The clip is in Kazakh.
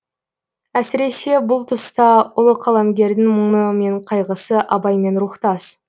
әсіресе бұл тұста ұлы қаламгердің мұңы мен қайғысы абаймен рухтас